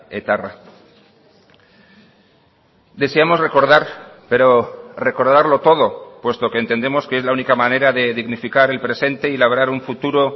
etarra deseamos recordar pero recordarlo todo puesto que entendemos que es la única manera de dignificar el presente y labrar un futuro